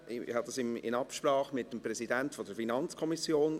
Ich wähle dieses Vorgehen in Absprache mit dem Präsidenten der FiKo.